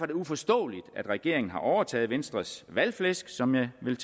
det uforståeligt at regeringen har overtaget venstres valgflæsk som jeg vil